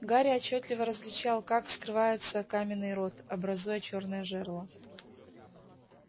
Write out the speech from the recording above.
гарри отчётливо различал как скрывается каменный рот образуя чёрное жерло